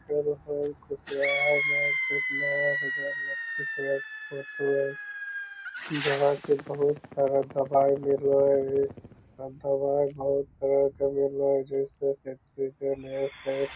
फेर नया बाजार लखीसराय के फोटो हेय जहां की बहुत सारा दवाई मिल रहा हेय दवाई बहुत तरह के मिल रहा जो की उसमे से --